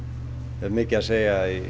hefur mikið að segja